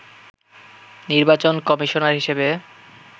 নির্বাচন কমিশনার হিসেবে